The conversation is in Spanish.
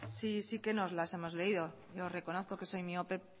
sí que nos la hemos leído lo reconozco que soy miope